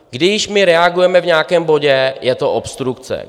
Když my reagujeme v nějakém bodě, je to obstrukce.